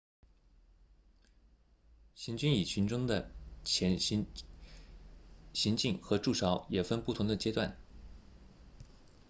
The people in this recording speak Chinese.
行军蚁群的行进和筑巢也分不同的阶段